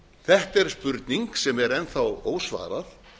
þetta er spurning sem er enn þá ósvarað